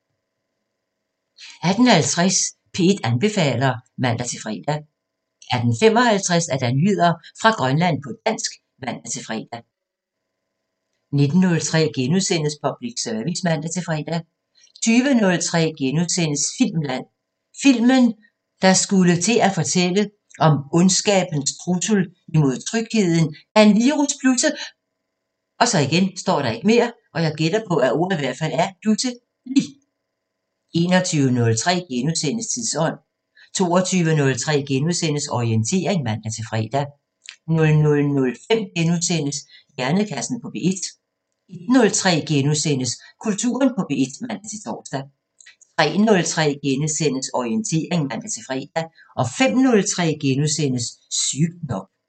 18:50: P1 anbefaler (man-fre) 18:55: Nyheder fra Grønland på dansk (man-fre) 19:03: Public Service *(man-fre) 20:03: Filmland: Filmen, der skulle til at fortælle om ondskabens trussel mod trygheden, da en virus pludse * 21:03: Tidsånd * 22:03: Orientering *(man-fre) 00:05: Hjernekassen på P1 * 01:03: Kulturen på P1 *(man-tor) 03:03: Orientering *(man-fre) 05:03: Sygt nok *